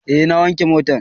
Eh na wanke motan